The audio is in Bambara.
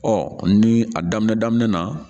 Ɔ ni a daminɛ daminɛ na